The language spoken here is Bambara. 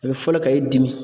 A bɛ fɔlɔ ka e dimi